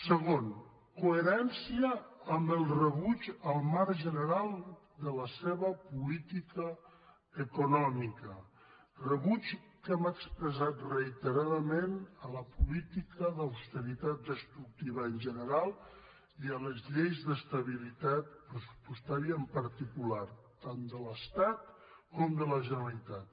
segon coherència amb el rebuig al marc general de la seva política econòmica rebuig que hem expressat reiteradament a la política d’austeritat destructiva en general i a les lleis d’estabilitat pressupostària en particular tant de l’estat com de la generalitat